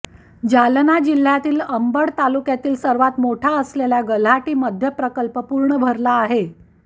जालना जिल्ह्यातील अंबड तालुक्यातील सर्वात मोठा असलेल्या गल्हाटी मध्यप्रकल्प पूर्ण भरला आहे